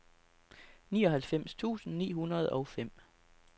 nioghalvfems tusind ni hundrede og fem